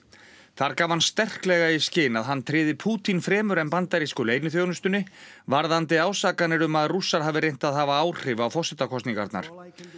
þar gaf hann sterklega í skyn að hann tryði Pútín fremur en bandarísku leyniþjónustunni varðandi ásakanir um að Rússar hafi reynt að hafa áhrif á forsetakosningarnar